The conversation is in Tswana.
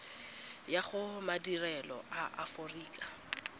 ya go madirelo a aforika